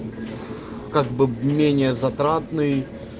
как бы менее затратный